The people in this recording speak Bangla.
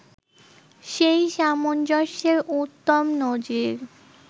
সেই সামঞ্জস্যের উত্তম নজির